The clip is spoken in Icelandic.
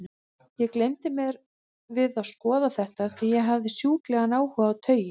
Ég gleymdi mér við að skoða þetta, því ég hafði sjúklegan áhuga á taui.